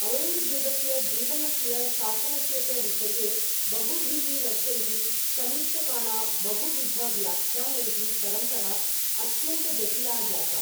औरङ्गजेबस्य जीवनस्य, शासनस्य च विषये बहुभिः वर्षैः समीक्षकाणां बहुविध व्याख्यानैः, परम्परा अत्यन्तजटिला जाता।